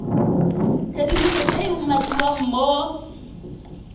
tshedimosetso e e umakiwang mo